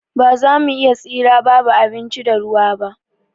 Ba za mu iya tsira babu abinci da ruwa ba.